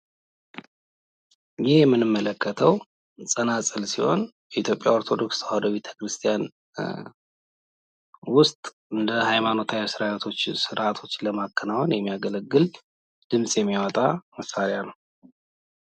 ይህ የምንመለከተው ጸናጽል ሲሆን የኢትዮጵያ ኦርቶዶክስ ተዋሕዶ ቤተክርስቲያን ውስጥ እንደ ሃይማኖታዊ ስርአቶች ለማከናወን የሚያገለግል ድምፅ የሚያወጣ መሳሪያ ነው።